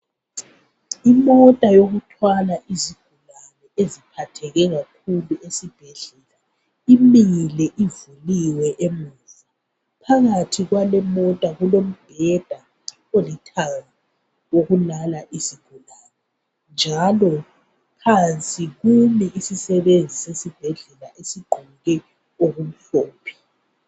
Imota ewokuthwala izigulane eziphatheke kakhulu esibhedlela imile ivuliwe emuva phakathi kwale mota kulombheda olithanga wokulala izigulane njalo phansi kumi isisebenzi sesibhedlela esigqoke okumhlophe